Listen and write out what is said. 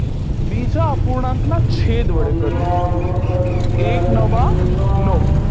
બીજા અપૂર્ણાંકના છેદ વડે કરીએ એક નવા નવ